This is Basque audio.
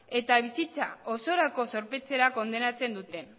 eta bizitza osorako zorpetzera kondenatzen dute